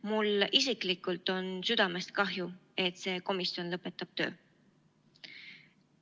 Mul isiklikult on südamest kahju, et see komisjon lõpetab töö.